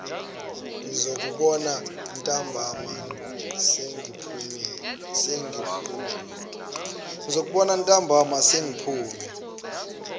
ngizokubona ntambama sengiphume